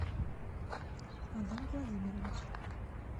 адам владимирович